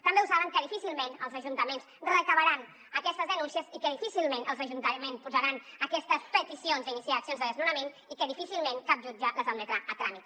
també ho saben que difícilment els ajuntaments recolliran aquestes denúncies i que difícilment els ajuntaments faran aquestes peticions d’iniciar accions de desnonament i que difícilment cap jutge les admetrà a tràmit